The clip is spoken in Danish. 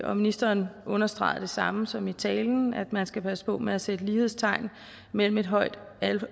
og ministeren understregede det samme som i talen altså at man skal passe på med at sætte lighedstegn mellem et højt